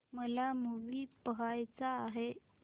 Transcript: मला मूवी पहायचा आहे